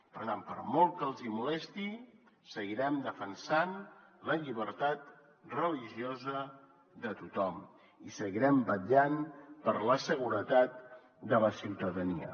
per tant per molt que els hi molesti seguirem defensant la llibertat religiosa de tothom i seguirem vetllant per la seguretat de la ciutadania